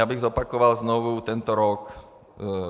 Já bych zopakoval znovu tento rok.